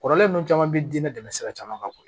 Kɔrɔlen ninnu caman bɛ diinɛ dɛmɛni sira caman kan